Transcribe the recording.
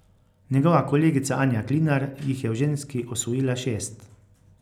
Njegova kolegica Anja Klinar jih je v ženski osvojila šest.